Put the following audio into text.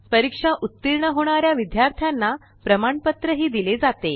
परीक्षा उत्तीर्ण होणाऱ्या विद्यार्थ्यांना प्रमाणपत्र ही दिले जाते